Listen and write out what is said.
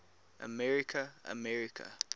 america america